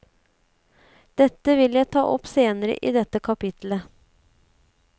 Dette vil jeg ta opp senere i dette kapittelet.